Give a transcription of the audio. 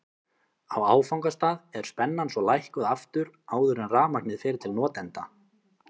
Á áfangastað er spennan svo lækkuð aftur áður en rafmagnið fer til notenda.